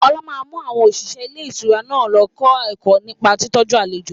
Ọlá máa mú àwọn òṣìṣẹ́ ilé ìtura náà lọ kọ́ ẹ̀kọ́ nípa ìtọ́jú àlejò